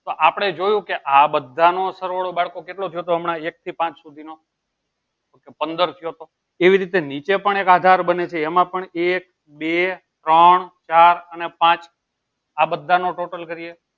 તો આપળે જોયું કે આ બધા નો સર્વોડો કેટલું થયું હતું હમણાં એક થી પાંચ સુધી માં પંદર થયો હતો એવું રીતે નીચે પણ એક આધાર બને છે એમાં પણ એક બે ત્રણ ચાર અને પાંચ આ બધા નો total કરીએ